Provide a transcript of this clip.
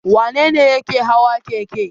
Wane ne yake hawa keke?